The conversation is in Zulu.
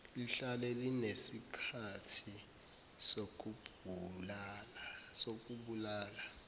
lihlale linesikhathi sokubulala